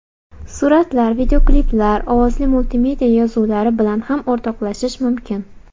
Suratlar, videokliplar, ovozli multimedia yozuvlari bilan ham o‘rtoqlashish mumkin.